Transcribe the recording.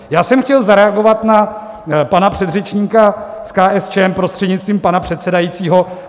Já jsem chtěl zareagovat na pana předřečníka z KSČM prostřednictvím pana předsedajícího.